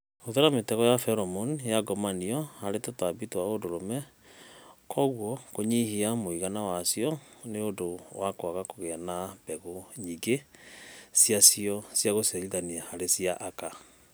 Hũthĩra mĩtego ya feromone ya ngomanio harĩ tũtambi twa ũndũrũme, kwoguo kũnyihanyihia mũigana wacio nĩ ũndũ wa kwaga kũgĩa na mbegũ nyingĩ ciacio ciagũciarithania harĩ cia aka